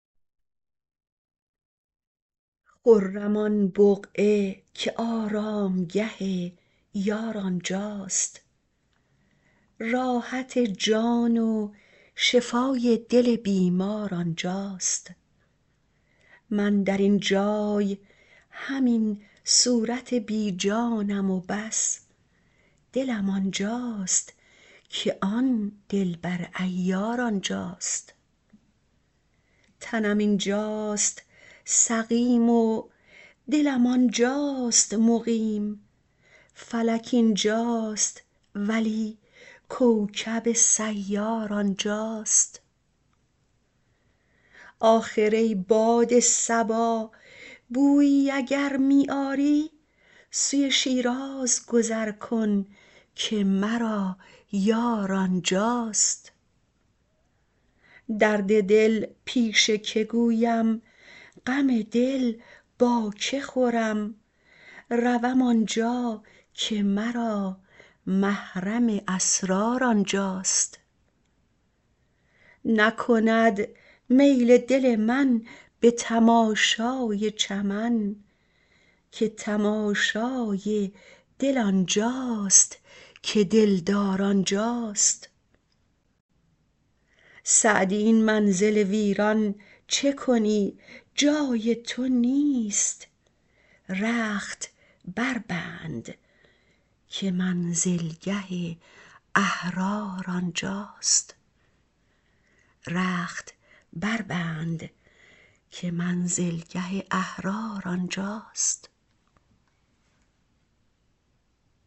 خرم آن بقعه که آرامگه یار آنجاست راحت جان و شفای دل بیمار آنجاست من در این جای همین صورت بی جانم و بس دلم آنجاست که آن دلبر عیار آنجاست تنم اینجاست سقیم و دلم آنجاست مقیم فلک اینجاست ولی کوکب سیار آنجاست آخر ای باد صبا بویی اگر می آری سوی شیراز گذر کن که مرا یار آنجاست درد دل پیش که گویم غم دل با که خورم روم آنجا که مرا محرم اسرار آنجاست نکند میل دل من به تماشای چمن که تماشای دل آنجاست که دلدار آنجاست سعدی این منزل ویران چه کنی جای تو نیست رخت بربند که منزلگه احرار آنجاست